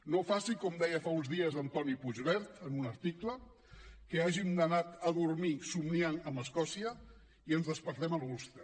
no faci com deia fa uns dies antoni puigverd en un article que hàgim d’anar a dormir somniant amb escòcia i ens despertem a l’ulster